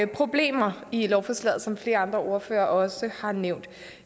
problemer i lovforslaget som flere andre ordførere også har nævnt